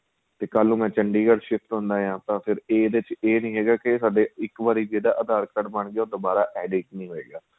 ਤੇ ਕੱਲ ਨੂੰ ਮੈਂ ਚੰਡੀਗੜ੍ਹ shift ਹੁਣਾ ਹਾਂ ਤਾਂ ਫ਼ਿਰ ਇਹਦੇ ਵਿੱਚ ਏ ਨਹੀਂ ਹੈਗਾ ਕੀ ਸਾਡੇ ਇੱਕ ਵਾਰੀ ਜਿਹੜਾ aadhar card ਬਣ ਗਿਆ ਉਹ ਦੁਬਾਰਾ edit ਨਹੀਂ ਹੋਏਗਾ